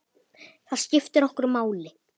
Það skiptir okkur máli.